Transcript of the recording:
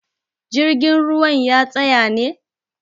jirgin ruwan ya tsaya ne?